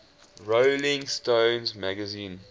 rolling stone magazine